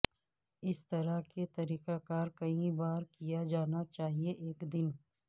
اس طرح کے طریقہ کار کئی بار کیا جانا چاہئے ایک دن